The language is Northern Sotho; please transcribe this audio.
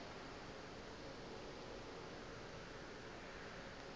bjalo ka ge e le